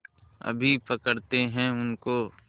अभी पकड़ते हैं उनको